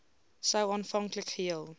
sou aanvanklik geheel